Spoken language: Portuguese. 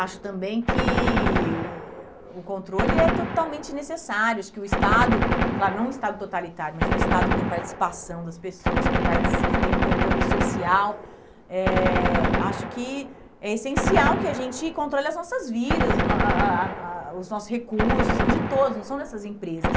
Acho também que o controle é totalmente necessário, acho que o Estado, claro, não um Estado totalitário, mas um Estado que tem participação das pessoas, que tem que tem controle social, eh acho que é essencial que a gente controle as nossas vidas a a a a, os nossos recursos, são de todos, não são dessas empresas.